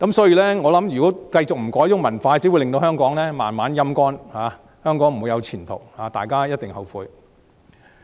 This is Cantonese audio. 如果這種文化不改變，只會令香港慢慢"陰乾"，香港不會再有前途，將來大家一定後悔。